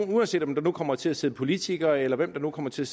det uanset om der nu kommer til at sidde politikere eller hvem der nu kommer til